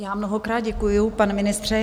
Já mnohokrát děkuji, pane ministře.